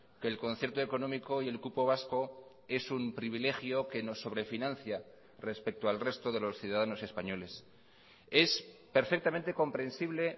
que el concierto económico y el cupo vasco es un privilegio que nos sobrefinancia respecto al resto de los ciudadanos españoles es perfectamente comprensible